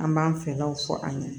An b'an fɛlaw fɔ an ɲɛnɛ